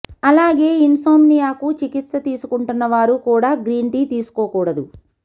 అలాగే ఇన్సోమ్నియాకు చికిత్స తీసుకుంటున్నవారు కూడా గ్రీన్ టీ తీసుకోకూడదు